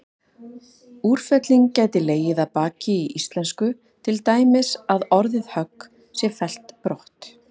Úrfelling gæti legið að baki í íslensku, til dæmis að orðið högg sé fellt brott.